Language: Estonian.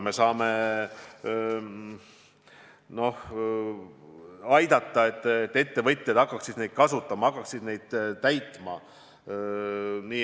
Me saame aidata, et ettevõtjad hakkaksid neid kasutama ja täitma.